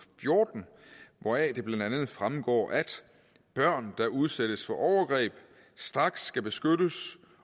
fjorten hvoraf det blandt andet fremgår at børn der udsættes for overgreb straks skal beskyttes